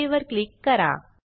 okay वर click करा